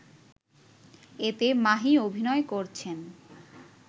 এতে মাহি অভিনয় করছেন